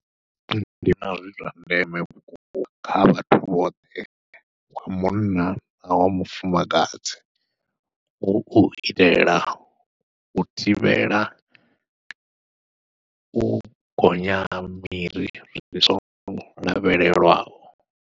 Ndi vhona zwi zwa ndeme vhukuma kha vhathu vhoṱhe wa munna na wa mufumakadzi hu u itela u thivhela u gonya miri ndi songo lavhelelwaho.